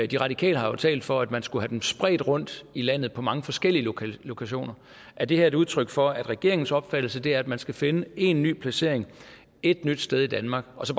de radikale har jo talt for at man skulle have dem spredt rundt i landet på mange forskellige lokationer er det her et udtryk for at regeringens opfattelse er at man skal finde én ny placering ét nyt sted i danmark og så